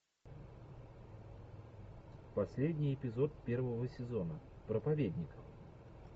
последний эпизод первого сезона проповедник